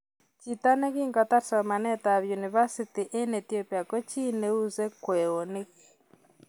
Chiito ne kiimkotar somanet ab univasiti eng ethiopia koo chii ne useii kweinik